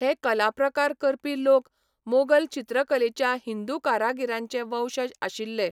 हे कलाप्रकार करपी लोक मोगल चित्रकलेच्या हिंदू कारागीरांचे वंशज आशिल्ले.